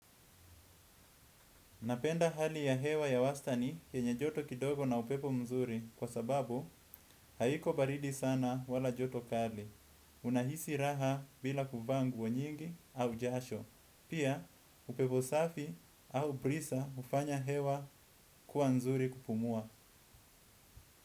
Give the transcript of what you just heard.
Napenda hali ya hewa ya wastani yenye joto kidogo na upepo mzuri kwa sababu haiko baridi sana wala joto kali. Unahisi raha bila kuvaa nguo nyingi au jasho. Pia upepo safi au brisa ufanya hewa kuwa nzuri kupumua.